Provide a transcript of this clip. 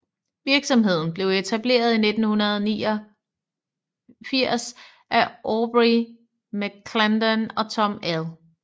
Virksomheden blev etableret i 1989 af Aubrey McClendon og Tom L